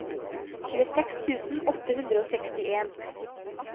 tjueseks tusen åtte hundre og sekstien